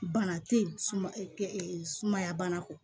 Bana te yen sumaya bana kɔ